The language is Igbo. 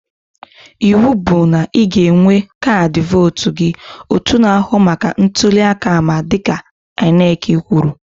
Ịwụ bụ na ị ga-enwe kaadị vootu gị! Otu na-ahụ maka ntụli aka ama dịka INEC kwuru